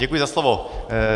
Děkuji za slovo.